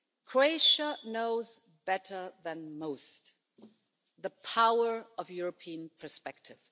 Croatia knows better than most the power of European perspective.